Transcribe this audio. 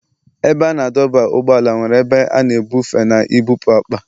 Ebe a na-adọba ụgbọala nwere ebe a na-ebufe na ibupu akpa.